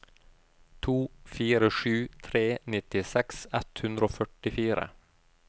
to fire sju tre nittiseks ett hundre og førtifire